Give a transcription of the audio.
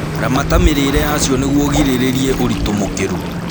Ramata mĩrĩre yacio nĩguo ũgirĩrĩrie ũritũ mũkĩru